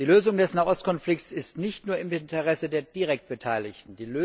Die Lösung des Nahostkonflikts liegt nicht nur im Interesse der direkt Beteiligten.